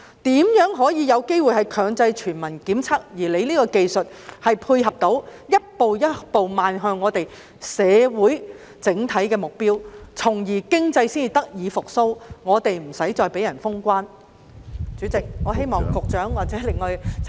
如何可以有機會強制全民檢測，而局長現時這項技術可以如何配合，以逐步邁向社會整體的目標，從而令經濟得以復蘇，其他地方不會再對香港封關？